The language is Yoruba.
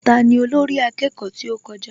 Tani olórí akẹ́kọ̀ọ́ tí ó kọjá?